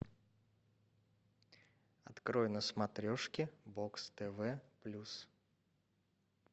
открой на смотрешке бокс тв плюс